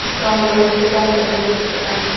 कामगार येथे काम करताना दिसत आहे.